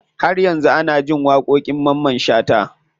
Har yanzu ana jin waƙoƙin mamman shata.